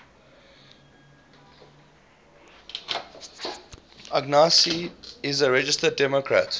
agassi is a registered democrat